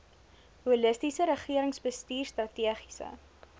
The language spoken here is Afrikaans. holistiese regeringsbestuur strategiese